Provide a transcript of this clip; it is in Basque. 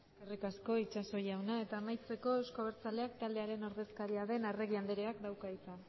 eskerrik asko itxaso jauna eta amaitzeko euzko abertzaleak taldearen ordezkaria den arregi andreak dauka hitza